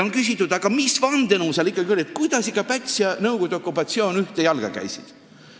On küsitud, mis vandenõu seal oli, kuidas ikkagi Päts ja Nõukogude okupatsioonirežiim ühte jalga käisid.